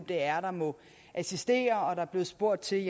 det er der må assistere der blev spurgt til